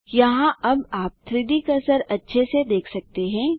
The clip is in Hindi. यहाँ अब आप 3Dकर्सर अच्छे से देख सकते हैं